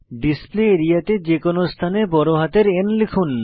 display area তে যে কোনো স্থানে বড় হাতের N লিখুন